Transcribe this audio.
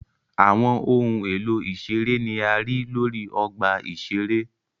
Awọn ohun elo iṣere ni a rii lori ọgba iṣere.